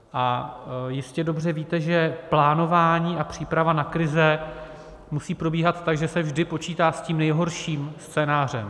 A jistě dobře víte, že plánování a příprava na krize musí probíhat tak, že se vždy počítá s tím nejhorším scénářem.